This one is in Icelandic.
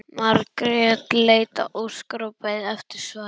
Margrét leit á Óskar og beið eftir svari.